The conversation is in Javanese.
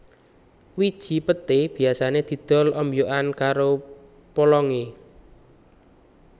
Wiji peté biasané didol ombyokan karo polongé